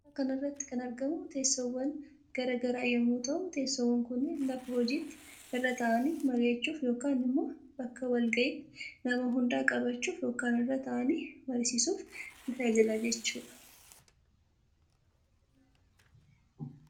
Suura kanarratti kan argamu tessoowwan garaa garaa yommuu ta'uu tessoowwan kunnin lafa hojiitti irra ta'aani marii'achuuf yookan immo bakka walga'iitti nama hunda qabachuuf yookan irra taa'anii mariisisuuf nii tajaajila jechuudha.